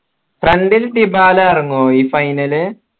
front ൽ ടിബല ഇറങ്ങുവോ ഈ final